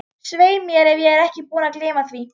Svei mér ef ég er ekki búinn að gleyma því